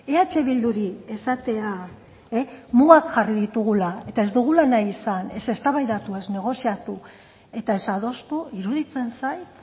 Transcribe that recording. eh bilduri esatea mugak jarri ditugula eta ez dugula nahi izan ez eztabaidatu ez negoziatu eta ez adostu iruditzen zait